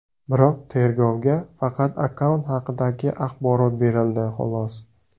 Biroq tergovga faqat akkaunt haqidagi axborot berildi, xolos.